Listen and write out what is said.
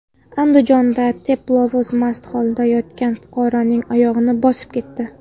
Andijonda teplovoz mast holatda yotgan fuqaroning oyog‘ini bosib ketdi.